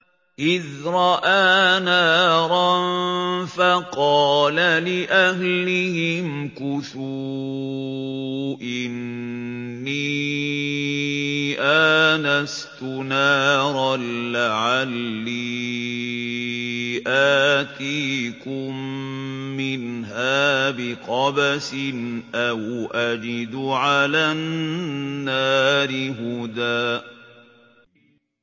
إِذْ رَأَىٰ نَارًا فَقَالَ لِأَهْلِهِ امْكُثُوا إِنِّي آنَسْتُ نَارًا لَّعَلِّي آتِيكُم مِّنْهَا بِقَبَسٍ أَوْ أَجِدُ عَلَى النَّارِ هُدًى